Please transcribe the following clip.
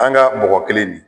An ka mɔgɔ kelen di